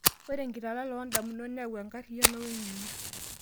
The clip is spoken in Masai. Ore enkitalala oo ndamunot neyau enkariyano weng'eno